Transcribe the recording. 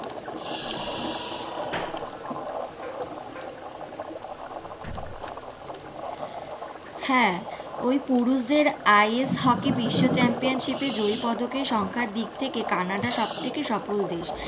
হ্যাঁ ওই পুরুষদের IS হকি বিশ্ব চ্যাম্পিয়ন শিপে জয়ী পদকে সংখ্যার দিক থেকে কানাডা সব থেকে সফল দেশ।